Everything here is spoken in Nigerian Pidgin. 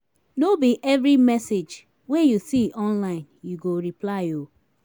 no be every message wey you see online you go reply o.